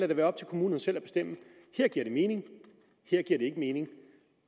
det være op til kommunerne selv at bestemme her giver det mening her giver det ikke mening